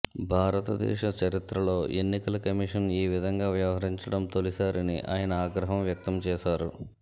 భారత దేశ చరిత్రలో ఎన్నికల కమిషన్ ఈ విధంగా వ్యవహరించడం తొలిసారని ఆయన ఆగ్రహం వ్యక్తం చేశారు